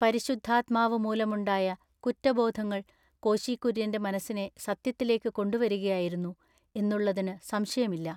പരിശുദ്ധാത്മാവു മൂലമുണ്ടായ കുറ്റബോധങ്ങൾ കോശി കുര്യൻ്റെ മനസ്സിനെ സത്യത്തിലേക്കു കൊണ്ടുവരികയായിരുന്നു എന്നുള്ളതിന്നു സംശയമില്ല.